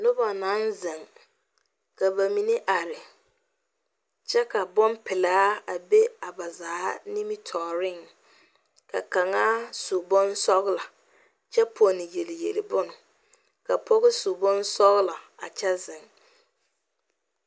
Noba naŋ zeŋ ka ba mine are kyɛ ka bonpelaa a be a ba zaa nimitɔreŋ ka kaŋa su bonsɔglɔ kyɛ ponne yeli yeli bon ka pɔgɔ su bonsɔglɔ a kyɛ zeŋ